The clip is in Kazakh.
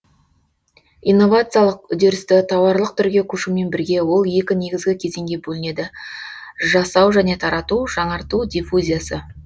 инновациялық үдерісті тауарлық түрге көшумен бірге ол екі негізгі кезеңге бөлінеді жасау және тарату жаңарту диффузиясы